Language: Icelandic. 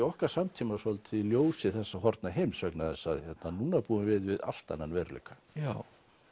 okkar samtíma svolítið í ljósi þessa horfna heims vegna þess að núna búum við við allt annan veruleika já